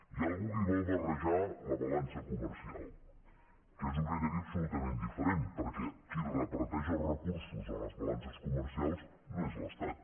hi ha algú que hi vol barrejar la balança comercial que és un criteri absolutament diferent perquè qui reparteix els recursos en les balances comercials no és l’estat